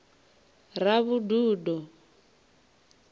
ravhududo